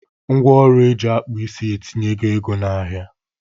Ngwa ọrụ eji akpụ isi etinyego ego na-ahia.